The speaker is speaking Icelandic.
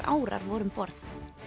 árar voru um borð